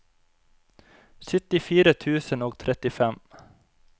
syttifire tusen og trettifem